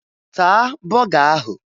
Taa bọga ahụ!